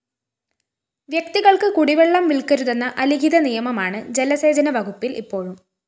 വ്യക്തികള്‍ക്ക് കുടിവെള്ളം വില്‍ക്കരുതെന്ന അലിഖിത നിയമമാണ് ജലസേചന വകുപ്പില്‍ ഇപ്പോഴും